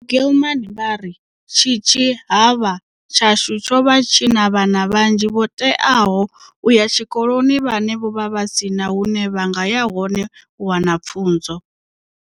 Gilman vha ri, "Tshitshi havha tshashu tsho vha tshi na vhana vhanzhi vho teaho u ya tshikoloni vhane vho vha vha si na hune vha nga ya hone u wana pfunzo."